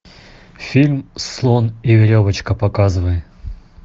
фильм слон и веревочка показывай